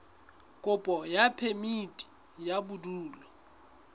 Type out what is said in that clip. kopo ya phemiti ya bodulo